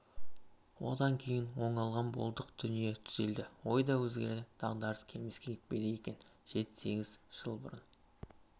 одан кейін оңалған болдық дүние түзелді ой да өзгерді дағдарыс келмеске кетпейді екен жеті-сегіз жыл бұрын